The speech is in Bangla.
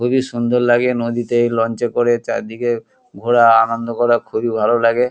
খুবই সুন্দর লাগে নদীতে লঞ্চ করে চারদিকে ঘোরা আনন্দ করা খুবই আনন্দ লাগে।